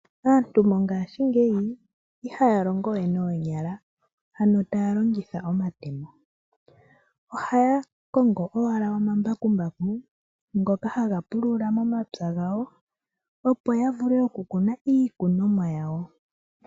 Aantu mongashingeyi ihaya longowe noonyala, ano taya longitha omatemo, ohaya kongo owala oma mbakumbaku ngoka haga pulula momapya gawo opo yavule okukuna iikunomwa yawo.